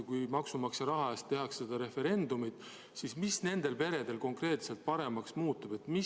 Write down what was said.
Kui maksumaksja raha eest tehakse see referendum, siis mis nendel peredel konkreetselt paremaks muutub?